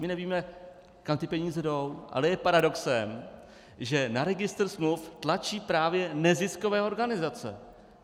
My nevíme, kam ty peníze jdou, ale je paradoxem, že na registr smluv tlačí právě neziskové organizace!